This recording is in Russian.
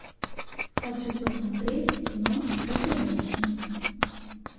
хочу посмотреть кино чудо женщина